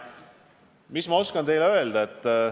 Mis ma oskan teile öelda?